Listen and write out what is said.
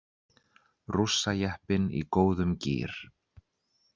Rússajeppinn í góðum gír